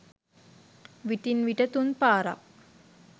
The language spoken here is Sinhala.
විටින් විට තුන් පාරක්